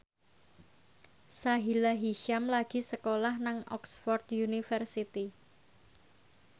Sahila Hisyam lagi sekolah nang Oxford university